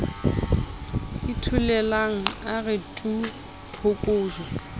itholela a re tu phokojwe